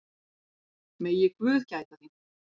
Megi guð gæta þín.